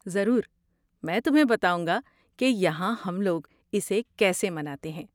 ضرور! میں تمہیں بتاؤں گا کہ یہاں ہم لوگ اسے کیسے مناتے ہیں۔